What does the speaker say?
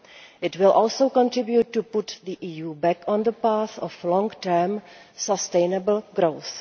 It will also contribute to putting the EU back on the path of long term sustainable growth.